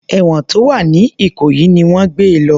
Èwọ̀n tó wà ní ìkòyí ni wọ́n gbé e lọ